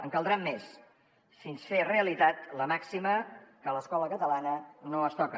en caldran més fins fer realitat la màxima que l’escola catalana no es toca